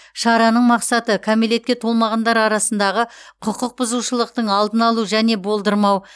шараның мақсаты кәмелетке толмағандар арасындағы құқық бұзушылықтың алдын алу және болдырмау